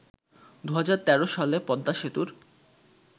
২০১৩ সালে পদ্মা সেতুর